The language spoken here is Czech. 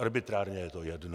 Arbitrárně je to jedno.